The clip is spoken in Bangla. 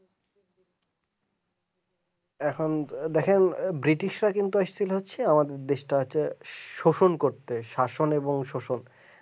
এখন দেখেন ব্রিটিশ ব্রিটিশরা কিন্তু আসলে হচ্ছে দেশটাকে শোষণ করতে শাসন এবং শোষণ